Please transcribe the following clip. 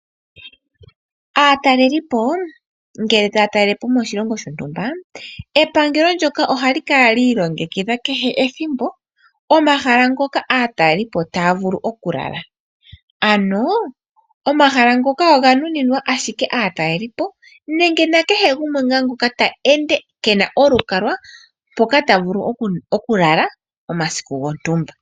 Aatalelipo ngele taya talele po moshilongo shontumba, epangelo ndyoka ohali kala liilongekidha kehe ethimbo omahala ngoka aatalelipo taya vulu okulala. Omahala ngoka oga nuninwa ashike aataleli nenge kehe gumwe ngoka eli molweendo keena olukalwa mpoka ta vulu oku lala omasiku gontumba.